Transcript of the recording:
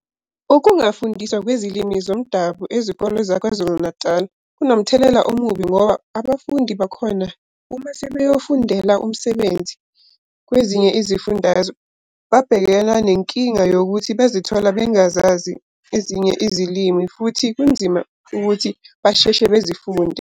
Ukungafundiswa kwezilimi zomdabu ezikole za KwaZulu-Natal kunomthelela omubi ngoba abafundi bakhona uma sebeyofundela imisebenzi kwezinye izifundazwe babhekena nenkinga yokuthi bazithola bengazazi ezinye izilimi futhi kunzima ukuthi basheshe bezifunde.